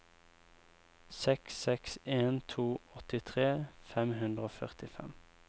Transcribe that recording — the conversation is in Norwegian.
seks seks en to åttitre fem hundre og førtifem